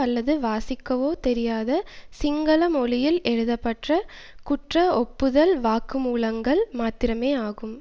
அல்லது வாசிக்கவோ தெரியாத சிங்கள மொழியில் எழுதப்பட்ட குற்ற ஒப்புதல் வாக்குமூலங்கள் மாத்திரமேயாகும்